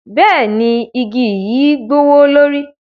Bẹẹni, igi yi gbowolori.